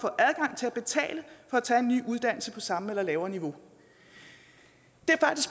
at tage en ny uddannelse på samme eller lavere niveau